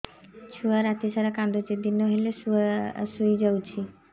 ଛୁଆ ରାତି ସାରା କାନ୍ଦୁଚି ଦିନ ହେଲେ ଶୁଇଯାଉଛି